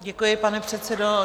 Děkuji, pane předsedo.